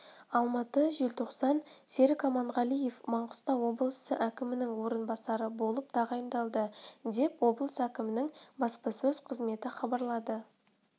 алматы желтоқсан серік аманғалиев маңғыстау облысы әкімінің орынбасары болып тағайындалды деп облыс әкімінің баспасөз қызметі хабарлады